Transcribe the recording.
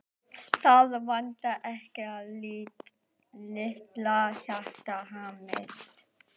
Það vantar ekki að litla hjartað hamist.